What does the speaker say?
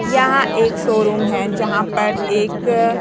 यहां एक शोरूम है जहां पर एक--